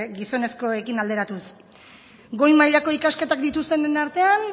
gizonezkoekin alderatuz goi mailako ikasketak dituztenen artean